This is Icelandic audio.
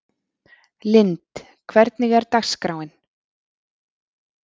Lynd, hvernig er dagskráin?